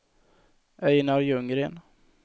Einar Ljunggren